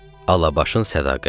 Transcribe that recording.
Alabaşın sədaqəti.